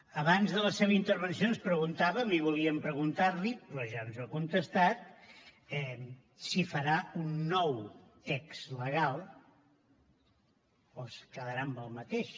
abans de la seva intervenció ens preguntàvem i volíem preguntar li però ja ens ho ha contestat si farà un nou text legal o es quedarà amb el mateix